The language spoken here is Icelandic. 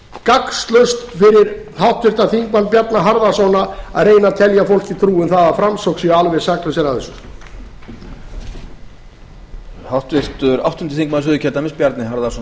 gagnslaust fyrir háttvirts þingmanns bjarna harðarson að reyna að telja fólki trú um það að framsóknarmenn séu alveg saklausir af þessu